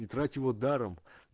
не трать его даром